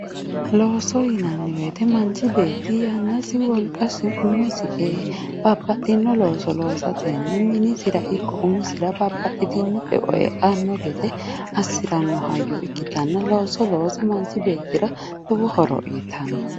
Looso yinanni woyte manchi beetti yannasi wolqasi umosi ee minisira ikko umisira babbaxxitino eo e'anno gede assiranno hayyo ikkitanno looso loosa manchi beetira lowo horo uytanno.